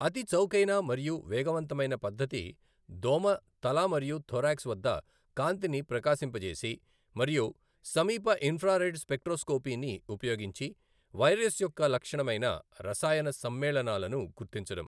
అతి చౌకైన మరియు వేగవంతమైన పద్ధతి దోమ తల మరియు థొరాక్స్ వద్ద కాంతిని ప్రకాశింపజేసి మరియు సమీప ఇన్ఫ్రారెడ్ స్పెక్ట్రోస్కోపీని ఉపయోగించి వైరస్ యొక్క లక్షణమైన రసాయన సమ్మేళనాలను గుర్తించడం.